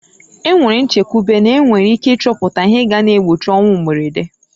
E nwere nchekwube n'enwere ike ịchọpụta ihe ga na-egbochi ọnwụ mberede.